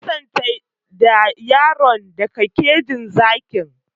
Ka nisantar da yaron daga kejin zakin!